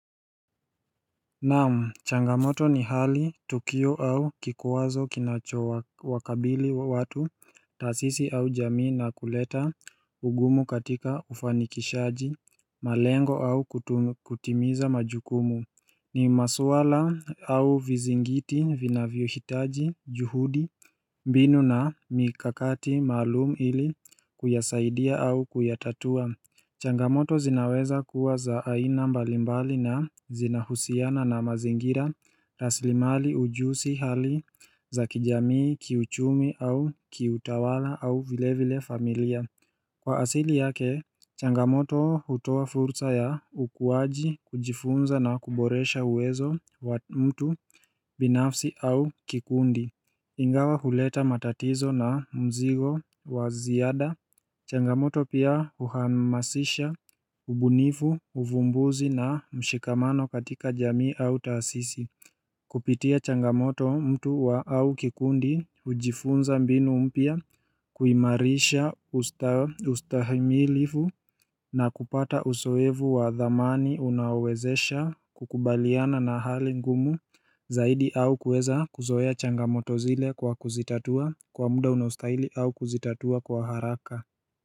Naam, changamoto ni hali, Tukio au kikuwazo kinacho wakabili wa watu, taasisi au jamii na kuleta ugumu katika ufanikishaji, malengo au kutimiza majukumu. Ni maswala au vizingiti, vinavyo hitaji, juhudi, mbinu na mikakati maalum ili kuyasaidia au kuyatatua. Changamoto zinaweza kuwa za aina mbalimbali na zinahusiana na mazingira raslimali ujusi hali za kijamii kiuchumi au kiutawala au vile vile familia Kwa asili yake, Changamoto hutoa fursa ya ukuaji kujifunza na kuboresha uwezo wa mtu binafsi au kikundi Ingawa huleta matatizo na mzigo waziada Changamoto pia uhamasisha ubunifu, uvumbuzi na mshikamano katika jamii au taasisi Kupitia changamoto mtu wa au kikundi ujifunza mbinu mpia kuimarisha ustahimilifu na kupata uzoevu wa dhamani unaowezesha kukubaliana na hali ngumu Zaidi au kuweza kuzoea changamoto zile kwa kuzitatua kwa muda unaostahili au kuzitatua kwa haraka.